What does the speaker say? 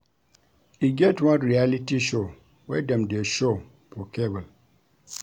E get one reality show wey dem dey show for cable